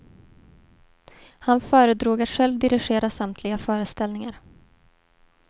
Han föredrog att själv dirigera samtliga föreställningar.